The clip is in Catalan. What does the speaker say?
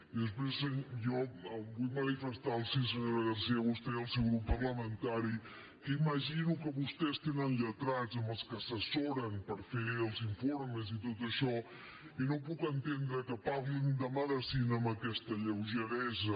i després jo vull manifestar·los senyora garcía a vostè i al seu grup parlamentari que imagino que vos·tès tenen lletrats amb els quals s’assessoren per fer els informes i tot això i no puc entendre que parlin de medicina amb aquesta lleugeresa